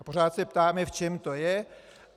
A pořád se ptáme, v čem to je.